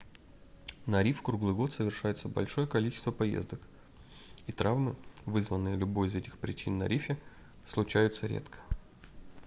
на риф круглый год совершается большое количество поездок и травмы вызванные любой из этих причин на рифе случаются редко